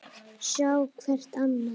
Sjá hvert annað.